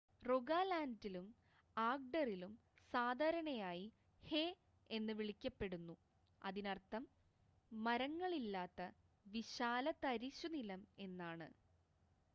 "റോഗാലാൻഡിലും ആഗ്‌ഡറിലും സാധാരണയായി "ഹേ" എന്ന് വിളിക്കപ്പെടുന്നു അതിനർത്ഥം മരങ്ങളില്ലാത്ത വിശാലതരിശുനിലം എന്നാണ്.